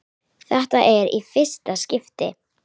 Þetta er í fyrsta skipti.